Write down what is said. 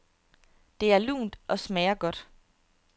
Det er lunt og smager godt.